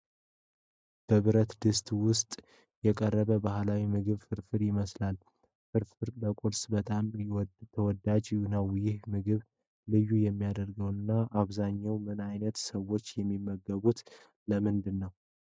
በብረት ድስት ውስጥ የቀረበው ባህላዊ ምግብ ፍርፍር ይመስላል። ፍርፍር ለቁርስ በጣም ተወዳጅ ነው። ይህን ምግብ ልዩ የሚያደርገው እና በአብዛኛው ምን ዓይነት ሰዎች የሚመገቡት ለምንድን ነው?